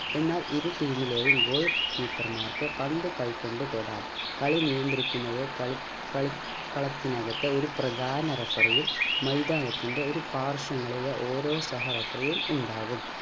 എന്നാൽ ഇരു team ലെയും goal keeper മാർക്ക് പന്ത് കൈ കൊണ്ട് തൊടാം കളി നിയന്ത്രിക്കുന്നത് കളി കളി കളത്തിനകത്തെ ഒരു പ്രധാന referee യും മൈതാനത്തിൻ്റെ ഒരു പാർശ്വങ്ങളിലെ ഓരോ സഹ referee യും ഉണ്ടാവും